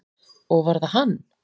Og var það hann?